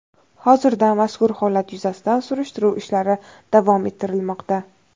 Hozirda mazkur holat yuzasidan surishtiruv ishlari davom ettirilmoqda.